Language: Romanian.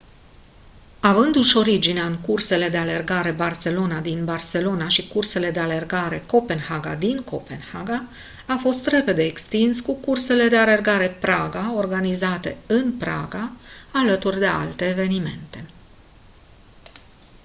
avându-și originea în cursele de alergare barcelona din barcelona și cursele de alergare copenhaga din copenhaga a fost repede extins cu cursele de alergare praga organizate în praga alături de alte evenimente